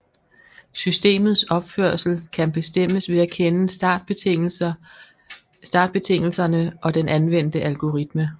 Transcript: Systemets opførsel kan bestemmes ved at kende startbetingelserne og den anvendte algoritme